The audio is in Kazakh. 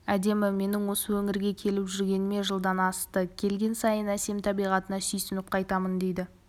әдемі менің осы өңірге келіп жүргеніме жылдан асты келген сайын әсем табиғатына сүйсініп қайтамын дейді